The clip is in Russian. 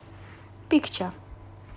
пикча